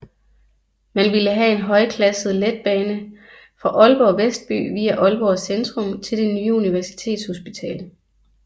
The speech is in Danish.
Man ville have en højklasset letbane fra Aalborg Vestby via Aalborg Centrum til det nye Universitetshospital